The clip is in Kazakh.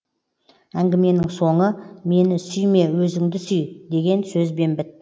әңгіменің соңы мені сүйме өзіңді сүй деген сөзбен бітті